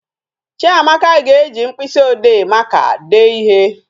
Chiamaka ga-eji mkpịsị ode maka dee ihe